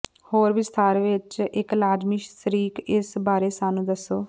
ਹੋਰ ਵਿਸਥਾਰ ਵਿੱਚ ਇੱਕ ਲਾਜ਼ਮੀ ਸ਼ਰੀਕ ਇਸ ਬਾਰੇ ਸਾਨੂੰ ਦੱਸੋ